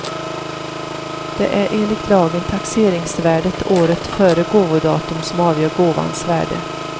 Det är enligt lagen taxeringsvärdet året före gåvodatum som avgör gåvans värde.